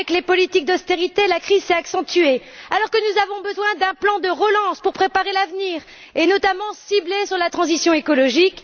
Avec les politiques d'austérité, la crise s'est accentuée, alors que nous avons besoin d'un plan de relance pour préparer l'avenir, notamment ciblé sur la transition écologique.